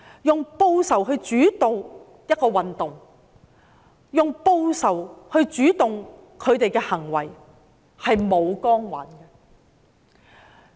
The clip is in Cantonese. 用報仇來主導一個運動，用報仇來主導他們的行為，是沒有光環的。